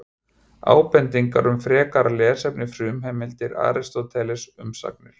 Ábendingar um frekara lesefni Frumheimildir: Aristóteles, Umsagnir.